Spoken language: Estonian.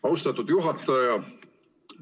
Austatud juhataja!